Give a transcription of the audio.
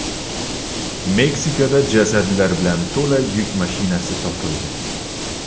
Meksikada jasadlar bilan to‘la yuk mashinasi topildi.